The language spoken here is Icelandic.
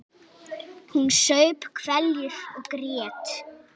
Hún saup hveljur og grét.